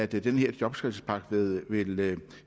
den her jobskabelsespakke vil